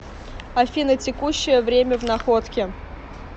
афина текущее время в находке